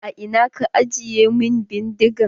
A ina ka ajiye min bindigan?